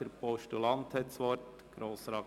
Der Postulant hat das Wort.